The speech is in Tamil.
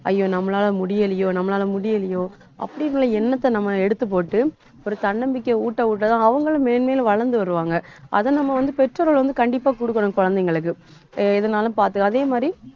ஐயோ நம்மளால முடியலையோ நம்மளால முடியலையோ அப்படி உள்ள எண்ணத்தை நம்ம எடுத்து போட்டு ஒரு தன்னம்பிக்கை ஊட்ட ஊட்டதான் அவங்களும் மேன்மேலும் வளர்ந்து வருவாங்க. அதை நம்ம வந்து, பெற்றோர்கள் வந்து கண்டிப்பா கொடுக்கணும் குழந்தைங்களுக்கு அஹ் எதுனாலும் பார்த்து, அதே மாதிரி